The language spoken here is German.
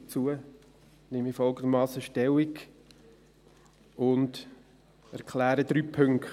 Dazu nehme ich folgendermassen Stellung und erkläre drei Punkte: